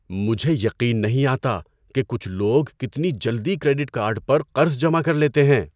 مجھے یقین نہیں آتا کہ کچھ لوگ کتنی جلدی کریڈٹ کارڈ پر قرض جمع کر لیتے ہیں۔